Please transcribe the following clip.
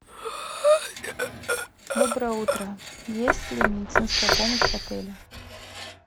доброе утро есть ли медицинская помощь в отеле